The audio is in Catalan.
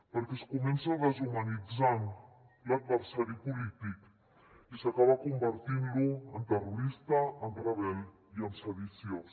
perquè es comença deshumanitzant l’adversari polític i s’acaba convertint lo en terrorista en rebel i en sediciós